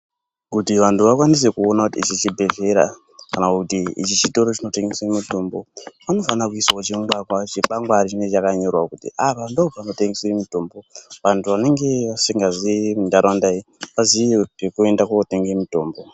Kuti vantu vakwanise kuone kuti ichi chibhedhlera kana kuti ichi chitoronchinotengeswe mutombo panofanira kuiswawo chingwangwa chikwangwari Chinenge chakanyorwa kuti apa ndopanotengeswe mutombo vantu vanenge vasingaziyi muntaraunda vaziye pekuende kotenge mutombo.